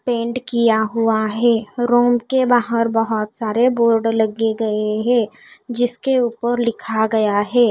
Paint किया हुआ है रूम के बाहर बहुत सारे बोर्ड लग गए हैं जिसके ऊपर लिखा गया है।